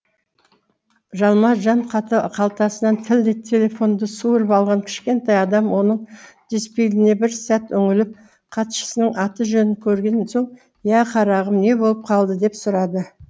жалма жан қалтасынан тілдей телефонды суырып алған кішкентай адам оның дисплейіне бір сәт үңіліп хатшысының аты жөнін көрген соң иә қарағым не болып қалды деп сұрады